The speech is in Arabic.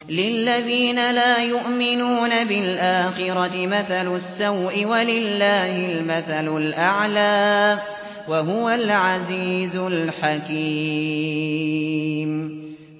لِلَّذِينَ لَا يُؤْمِنُونَ بِالْآخِرَةِ مَثَلُ السَّوْءِ ۖ وَلِلَّهِ الْمَثَلُ الْأَعْلَىٰ ۚ وَهُوَ الْعَزِيزُ الْحَكِيمُ